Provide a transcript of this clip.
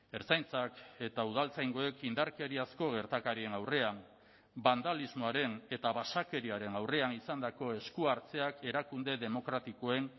ertzaintzak eta udaltzaingoek indarkeriazko gertakarien aurrean bandalismoaren eta basakeriaren aurrean izandako eskuhartzeak erakunde demokratikoen